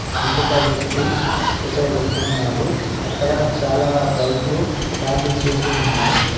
ఇంకొక వ్యక్తి ఎటో వెళ్తున్నాడు. అక్కడ చాలా బైక్లు పార్కింగ్ చేసి ఉన్నాయి.